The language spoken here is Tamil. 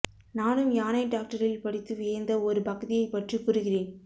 நானும் யானை டாக்டரில் படித்து வியந்த ஒரு பகுதியைப் பற்றி கூறுகிறேன்